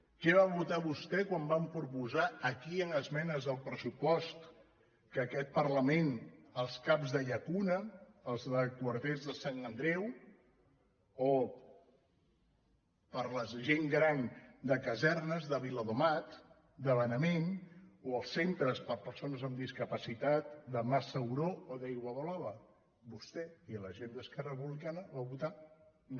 què va votar vostè quan vam proposar aquí en esme·nes al pressupost d’aquest parlament els cap de lla·cuna els de quarters de sant andreu o per a la gent gran de casernes de viladomat de benavent o els centres per a persones amb discapacitat de mas sauró o d’aiguablava vostè i la gent d’esquerra republica·na van votar no